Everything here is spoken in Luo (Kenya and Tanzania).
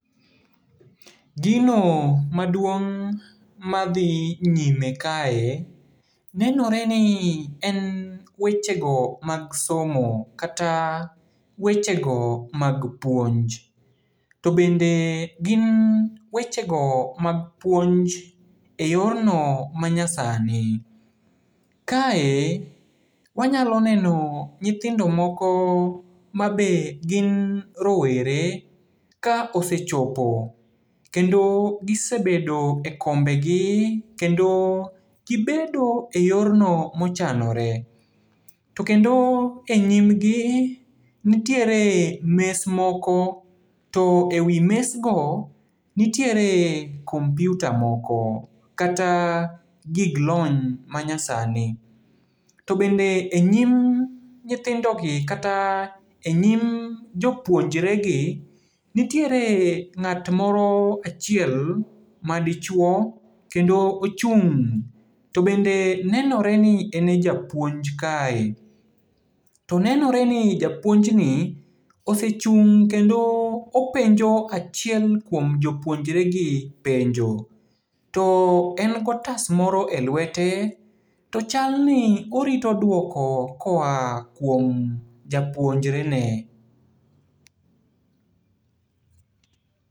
Gino maduong' madhi nyime kae, nenoreni en wechego mag somo, kata wechego mag puonj. To bende gin wechego mag puonj e yorno manyasani. Kae wanyalo neno nyithindo moko mabe gin rowere, ka osechopo, kendo gisebedo e kombegi, kendo gibedo e yorno mochanore. To kendo e nyimgi, nitiere mes moko, to e wi mesgo nitiere kompyuta moko, kata gig lony manyasani. To bende e nyim nyithindogi kata e nyim jopuonjregi, nitiere ng'at moro achiel madichuo, kendo ochung'. To bende nenoreni ene japuonj kae. To nenoreni japuonjni osechung' kendo openjo achiel kuom jopuonjregi penjo. To en gotas moro e lwete, to chalni orito duoko koa kuom japuonjre ne.